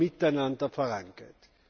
nur miteinander vorangeht.